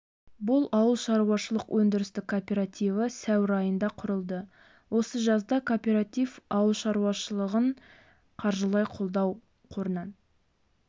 бұл ауылшаруашылық өндірістік кооперативі сәуір айында құрылды осы жазда кооператив ауыл шаруашылығын қаржылай қолдау қорынан